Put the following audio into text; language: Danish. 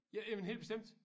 Ja jamen helt bestemt